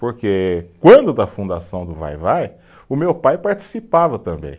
Porque quando da fundação do Vai-vai, o meu pai participava também.